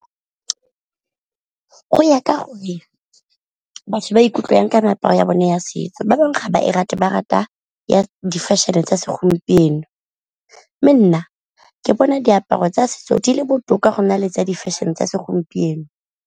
Go ya ka gore batho ba ikutlwa jang ka meaparo ya bone ya setso, ba bangwe ga ba e rate ba rata ya di-fashion-e tsa segompieno, mme nna ke bona diaparo tsa setso di le botoka go na le tsa di-fashion tsa segompieno.